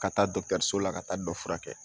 Ka taa dɔgɔtɔrɔso la ka taa dɔ furakɛ